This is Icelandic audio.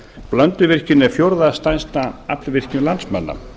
blönduvirkjun er fjórða stærsta aflvirkjun landsmanna